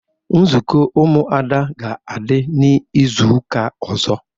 Nzukọ ụmụada ga adi n'izuka ozo